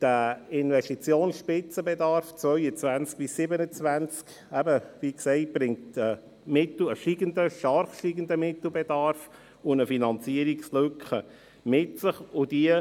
Der Investitionsspitzenbedarf 2022–2027 bringt einen stark steigenden Mittelbedarf und eine Finanzierungslücke mit sich.